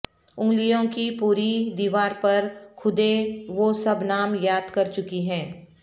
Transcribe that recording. انگلیوں کی پوریں دیوار پر کھدے وہ سب نام یاد کر چکی ہیں